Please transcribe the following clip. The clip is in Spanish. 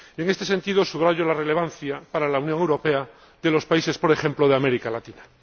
En este sentido, subrayo la relevancia para la Unión Europea de los países, por ejemplo, de América Latina.